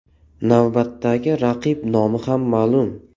Navbatdagi raqib nomi ham ma’lum .